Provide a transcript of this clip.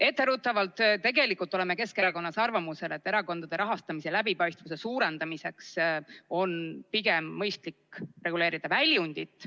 Etteruttavalt: tegelikult oleme Keskerakonnas arvamusel, et erakondade rahastamise läbipaistvuse suurendamiseks on pigem mõistlik reguleerida väljundit.